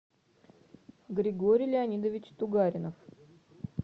григорий леонидович тугаринов